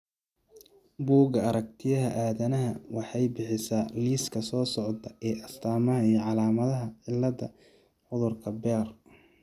Bugga Aaragtiyaha Aadanaha waxay bixisaa liiska soo socda ee astamaha iyo calaamadaha cilada cudurka Behr.